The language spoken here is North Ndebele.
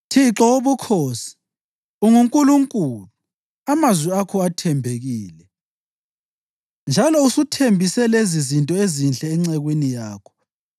Thixo Wobukhosi, unguNkulunkulu! Amazwi akho athembekile, njalo usuthembise lezizinto ezinhle encekwini yakho.